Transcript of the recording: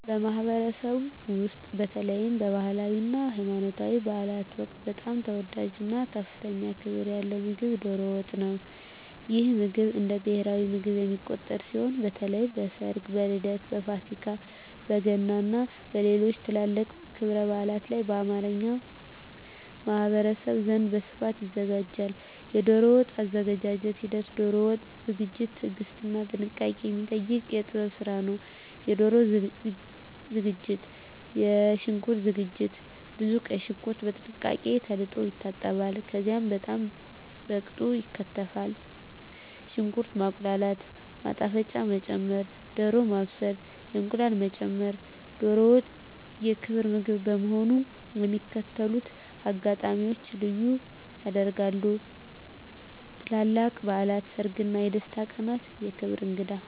ማኅበረሰብ ውስጥ፣ በተለይም በባህላዊ እና ሃይማኖታዊ በዓላት ወቅት በጣም ተወዳጅ እና ከፍተኛ ክብር ያለው ምግብ ዶሮ ወጥ ነው። ይህ ምግብ እንደ ብሔራዊ ምግብ የሚቆጠር ሲሆን፣ በተለይ በሰርግ፣ በልደት፣ በፋሲካ፣ በገና እና በሌሎችም ትላልቅ ክብረ በዓላት ላይ በአማርኛ ማኅበረሰብ ዘንድ በስፋት ይዘጋጃል። የዶሮ ወጥ አዘገጃጀት ሂደት ዶሮ ወጥ ዝግጅት ትዕግስትና ጥንቃቄ የሚጠይቅ የጥበብ ስራ ነው -የዶሮ ዝግጅት -የሽንኩርት ዝግጅት ብዙ ቀይ ሽንኩርት በጥንቃቄ ተለቅልቆ ይታጠባል፣ ከዚያም በጣም በቅጡ ይከተፋል። -ሽንኩርት ማቁላላት -ማጣፈጫ መጨመር -ዶሮ ማብሰል -እንቁላል መጨመር ዶሮ ወጥ የክብር ምግብ በመሆኑ የሚከተሉትን አጋጣሚዎች ልዩ ያደርጋል -ትላልቅ በዓላት -ሰርግ እና የደስታ ቀናት -የክብር እንግዳ